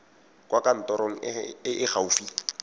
kwa kantorong e e gaufi